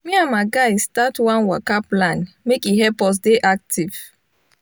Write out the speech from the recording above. me and my guys start one waka plan make e help us dey active